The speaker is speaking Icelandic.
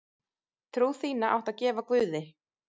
Trú þína áttu að gefa guði.